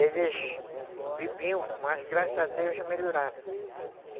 Eles bebiam, mas graças a Deus já melhoraram.